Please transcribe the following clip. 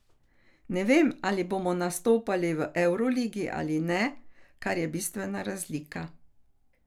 Ne vem, ali bomo nastopali v evroligi ali ne, kar je bistvena razlika.